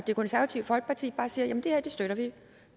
det konservative folkeparti bare siger at det her støtter vi